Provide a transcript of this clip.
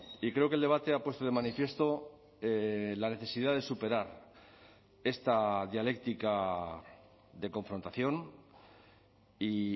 y creo que el debate ha puesto de manifiesto la necesidad de superar esta dialéctica de confrontación y